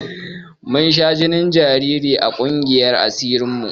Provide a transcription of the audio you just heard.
Mun sha jinin jariri a ƙungiyar asirin mu